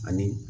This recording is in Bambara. Ani